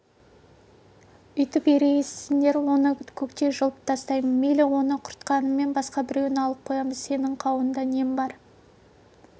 өйтіп ерегіссеңдер оны көктей жұлып тастаймын мейлі оны құртқаныңмен басқа біреуін алып қоямыз сенің қауында нең бар